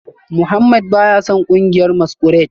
Mohammed baya son kungiyar masquerade